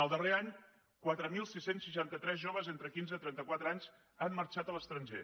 el darrer any quatre mil sis cents i seixanta tres joves entre quinze i trenta quatre anys han marxat a l’estranger